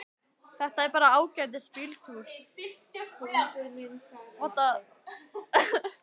Þetta er bara ágætis bíltúr.